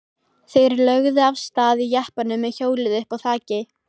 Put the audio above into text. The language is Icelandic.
Þeir lögðu af stað í jeppanum með hjólið uppá þaki.